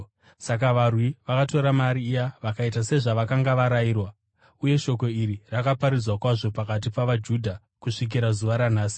Saka varwi vakatora mari iya vakaita sezvavakanga varayirwa. Uye shoko iri rakaparadzirwa kwazvo pakati pavaJudha kusvikira zuva ranhasi.